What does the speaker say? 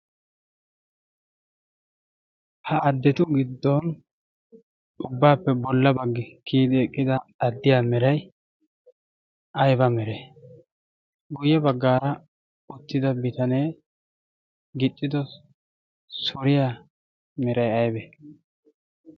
ha addetu giddon ubbaappe bolla baggi kiyidi eqqida addiya mirai ayba mere? guyye baggaara ottida bitanee gixxido soriya mirai aybe?